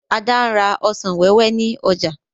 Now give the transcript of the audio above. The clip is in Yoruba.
Ada n rà ọsàn wẹ́wẹ́ ní ọjà